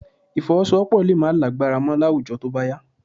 Ìfọwọ́sowọ́́pọ̀ lè má lágbára mọ́ láwùjọ tó bá yá